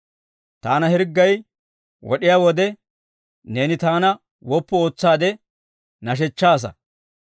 Taana hirggay wod'iyaa wode, neeni taana woppu ootsaade nashechchaasa.